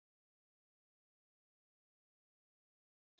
Það var komið kvöld og farið að skyggja.